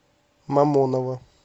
мамоново